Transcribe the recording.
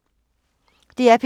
DR P3